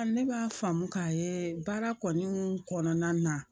Ne b'a faamu k'a ye baara kɔnɔni kɔnɔna na